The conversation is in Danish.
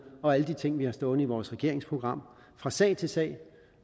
og alle de ting vi har stående i vores regeringsprogram fra sag til sag